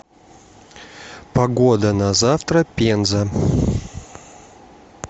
погода на завтра пенза